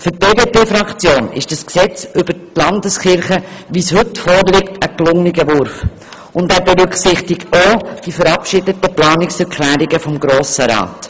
Für die BDPFraktion ist das vorliegende Gesetz ein gelungener Wurf und berücksichtigt auch die verabschiedeten Planungserklärungen des Grossen Rats.